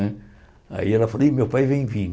Né aí ela falou, e meu pai vem